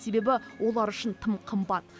себебі олар үшін тым қымбат